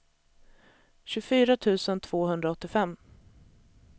tjugofyra tusen tvåhundraåttiofem